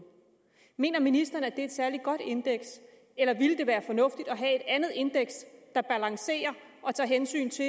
mener ministeren at det er et særlig godt indeks eller ville det være fornuftigt at have andet indeks der balancerer og tager hensyn til